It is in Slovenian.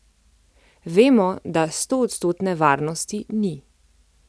Vemo, da stoodstotne varnosti ni.